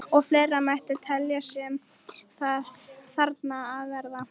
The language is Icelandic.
Og fleira mætti telja sem þarna á að verða.